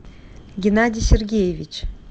геннадий сергеевич